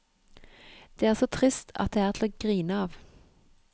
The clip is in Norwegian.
Det er så trist at det er til å grine av.